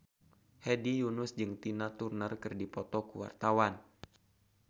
Hedi Yunus jeung Tina Turner keur dipoto ku wartawan